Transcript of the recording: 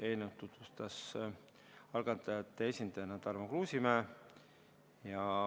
Eelnõu tutvustas algatajate esindajana Tarmo Kruusimäe.